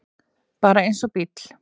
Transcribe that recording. Bara eins og bíll.